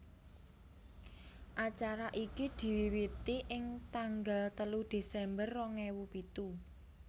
Acara iki diwiwiti ing tanggal telu Desember rong ewu pitu